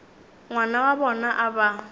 ngwana wa bona a ba